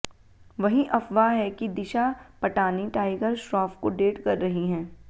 वहीं अफवाह है कि दिशा पटानी टाइगर श्रॉफ को डेट कर रही हैं